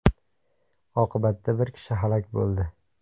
Oqibatda bir kishi halok bo‘ldi.